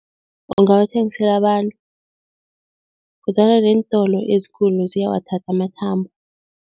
Ungawathengisela abantu kodwana neentolo ezikulu ziyawathatha amathambo.